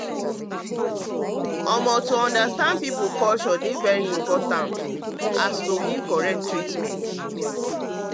um understanding people culture um important just like giving correct treatment.